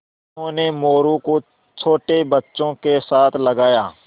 उन्होंने मोरू को छोटे बच्चों के साथ लगाया